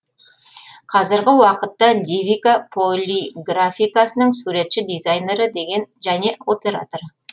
қазіргі уакытта девика полиграфикасының суретші дизайнері деген және операторы